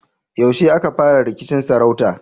Yaushe aka fara rikicin sarauta?